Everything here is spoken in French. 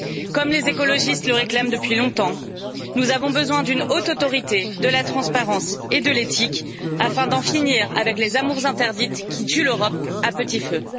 Comme les écologistes le réclament depuis longtemps, nous avons besoin d'une haute autorité de la transparence et de l'éthique afin d'en finir avec les amours interdites qui tuent l'Europe à petit feu.